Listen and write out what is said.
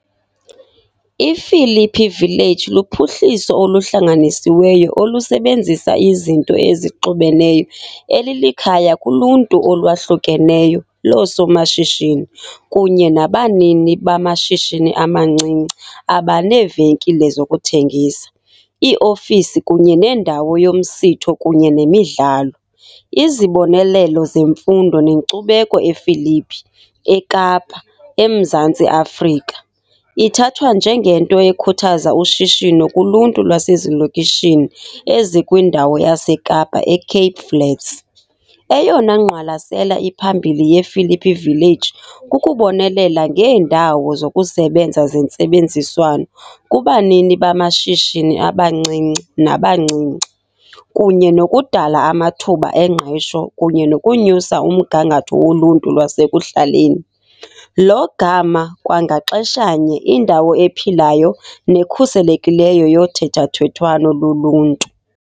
I-Philippi Village luphuhliso oluhlanganisiweyo olusebenzisa izinto ezixubeneyo elilikhaya kuluntu olwahlukeneyo loosomashishini kunye nabanini bamashishini amancinci abaneevenkile zokuthengisa, iiofisi kunye nendawo yomsitho kunye nemidlalo, izibonelelo zemfundo nenkcubeko ePhilippi, eKapa, ​​eMzantsi Afrika.Ithathwa njengento ekhuthaza ushishino kuluntu lwasezilokishini ezikwindawo yaseKapa eCape Flats, eyona ngqwalasela iphambili yePhilippi Village kukubonelela ngeendawo zokusebenza zentsebenziswano kubanini bamashishini abancinci nabancinci, kunye nokudala amathuba engqesho kunye nokunyusa umgangatho woluntu lwasekuhlaleni, lo gama kwangaxeshanye indawo ephilayo nekhuselekileyo yothethathethwano loluntu.